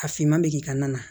A finman bɛ k'i ka na na